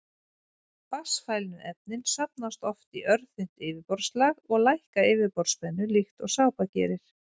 Vatnsfælnu efnin safnast oft í örþunnt yfirborðslag og lækka yfirborðsspennu líkt og sápa gerir.